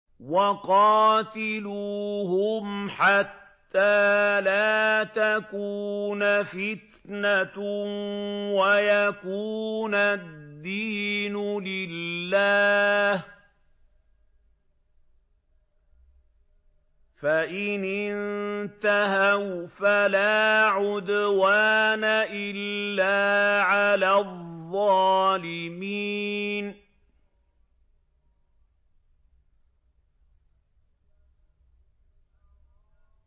وَقَاتِلُوهُمْ حَتَّىٰ لَا تَكُونَ فِتْنَةٌ وَيَكُونَ الدِّينُ لِلَّهِ ۖ فَإِنِ انتَهَوْا فَلَا عُدْوَانَ إِلَّا عَلَى الظَّالِمِينَ